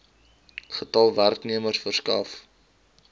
getal werknemers gewerf